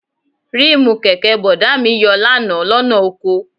Ríìmù kẹ̀kẹ́ Bọ̀dá mi yọ lánàá lọ́nà oko